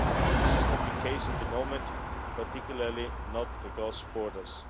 This is not the case at the moment, particularly not across borders.